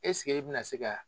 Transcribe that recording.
e bi na se ka